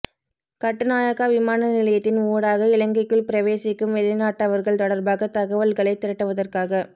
கட்டுநாயக்கா விமான நிலையத்தின் ஊடாக இலங்கைக்குள் பிரவேசிக்கும் வெளிநாட்டவர்கள் தொடர்பாக தகவல்களை திரட்டுவதற்காக